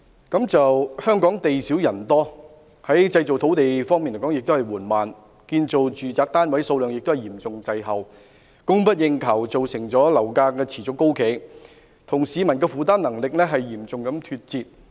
香港地少人多，製造土地的工作緩慢，建造住宅單位數量亦嚴重滯後，供不應求的情況造成樓價持續高企，亦與市民的負擔能力嚴重脫節。